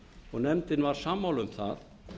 og nefndin var sammála um það